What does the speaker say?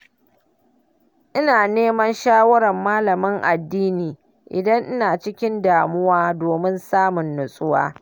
Ina neman shawarar malamin addini idan ina cikin damuwa domin samun natsuwa.